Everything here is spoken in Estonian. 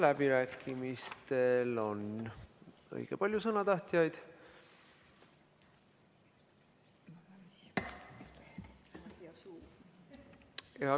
Läbirääkimistel on õige palju sõnatahtjaid.